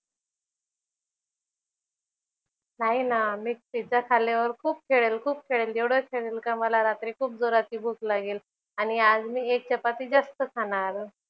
नाही ना मी पिझ्झा खाल्ल्यावर खूप खेळेल खूप खेळेल. एवढं खेळेल का मला रात्री खूप जोराची भूक लागेल आणि आज मी एक चपाती जास्त खाणार.